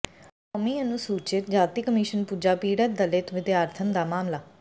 ਕੌਮੀ ਅਨੁਸੂਚਿਤ ਜਾਤੀ ਕਮਿਸ਼ਨ ਪੁੱਜਾ ਪੀੜਤ ਦਲਿਤ ਵਿਦਿਆਰਥਣ ਦਾ ਮਾਮਲਾ